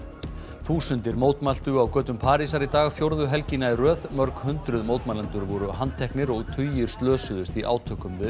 þúsundir mótmæltu á götum Parísar í dag fjórðu helgina í röð mörg hundruð mótmælendur voru handteknir og tugir slösuðust í átökum við